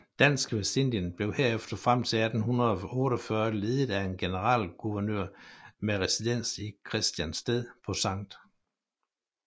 Dansk Vestindien blev herefter frem til 1848 ledet af en generalguvernør med residens i Christiansted på St